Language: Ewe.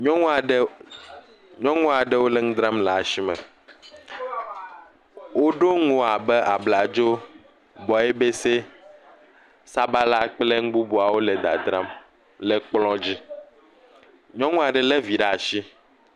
Nyɔnu aɖe lé vi ɖe asi, nyɔnu aɖe.. nyɔnu aɖewo le nu dzram le asi me, woɖo nuwo abe abladzo, gbɔebese, sabala kple nu bubuawo le dzadzram le kplɔ dzi.